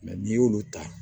n'i y'olu ta